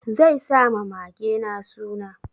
Zai sa ma magena suna.